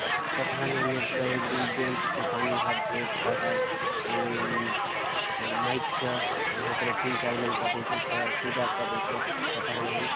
पठाने नेरचा एवरी बेंच च पानी हाथ धोएल काय काय अनि माइक च हपरे तीन चार मन के बेसे च पूजा कर रे च पटा नहीन --